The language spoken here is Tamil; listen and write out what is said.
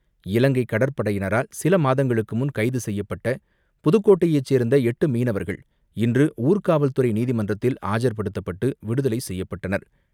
இலங்கை கடற்படையினரால் சில மாதங்களுக்கு முன் கைது செய்யப்பட்ட புதுக்கோட்டையை சேர்ந்த எட்டு மீனவர்கள் இன்று ஊர்காவல்துறை நீதிமன்றத்தில் ஆஜர்படுத்தப்பட்டு, விடுதலை செய்யப்பட்டனர்.